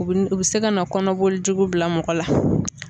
U bi u bi se ka na kɔnɔboli jugu bila mɔgɔ la.